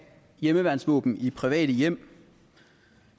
hjemmeværnsvåben i private hjem